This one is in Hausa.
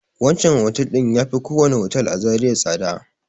Wancan otel ɗin ya fi kowane otel a Zariya tsada.